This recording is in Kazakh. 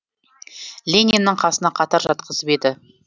лениннің қасына қатар жатқызып еді